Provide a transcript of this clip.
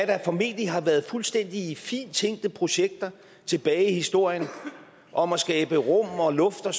der formentlig har været fuldstændig fint tænkte projekter tilbage i historien om at skabe rum og luft og